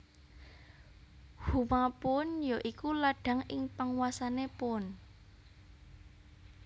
Huma Puun ya iku ladhang ing panguwasané Puun